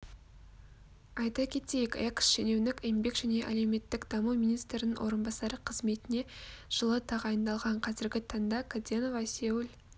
айта кетейік экс-шенеунік еңбек және әлеуметтік даму министрінің орынбасарф қызметіне жылы тағайындалған қазіргі таңда каденова сеул